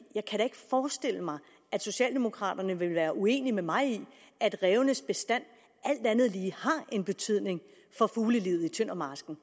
jeg kan da ikke forestille mig at socialdemokraterne vil være uenige med mig i at rævebestanden alt andet lige har betydning for fuglelivet i tøndermarsken